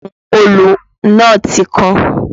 Ọrùn òòlù náà ti kan